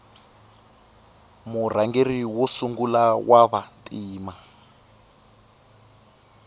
murhangeri wa sungula wava ntima